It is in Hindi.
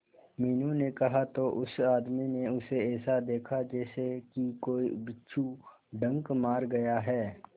मीनू ने कहा तो उस आदमी ने उसे ऐसा देखा जैसे कि कोई बिच्छू डंक मार गया है